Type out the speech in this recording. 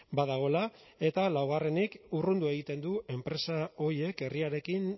badagoela eta laugarrenik urrundu egiten du enpresa horiek herriarekin